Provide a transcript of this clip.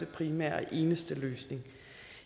primære og eneste løsning